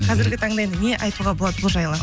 қазіргі таңда енді не айтуға болады бұл жайлы